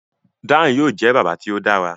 Dan yóò jẹ bàbá tí o dára